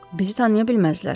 Bizi tanıya bilməzlər.